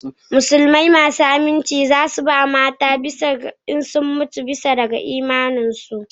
Musulmai masu aminci za su ba da mata a sama idan sun mutu bisa ga imaninsu